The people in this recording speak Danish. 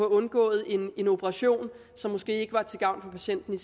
undgået en operation som måske ikke var til gavn for patienten